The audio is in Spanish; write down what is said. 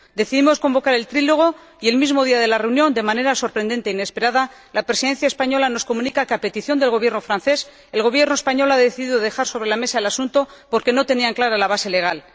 Decidimos convocar el trílogo y, el mismo día de la reunión, de manera sorprendente e inesperada, la Presidencia española nos comunica que, a petición del Gobierno francés, el Gobierno español ha decidido dejar sobre la mesa el asunto porque no tenía clara la base legal.